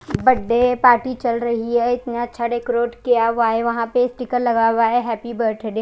बड्डे party चल रही है इतने अच्छे डेकोरेट किया हुआ है वहां पर स्टीकर लगा हुआ है हैप्पी बर्थडे --